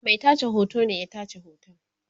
Mai tace hoto ne ya tace hoton